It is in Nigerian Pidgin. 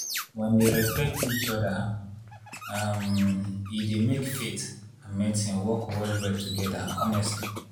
when dem respect each other um e dey make faith and medicine work well well together honestly.